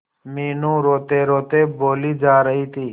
मीनू रोतेरोते बोली जा रही थी